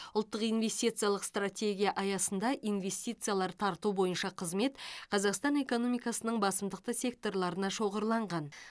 ұлттық инвестициялық стратегия аясында инвестициялар тарту бойынша қызмет қазақстан экономикасының басымдықты секторларына шоғырланған